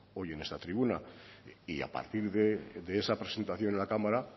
hoy en esta tribuna y a partir de esa presentación en la cámara